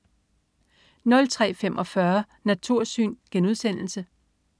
03.45 Natursyn*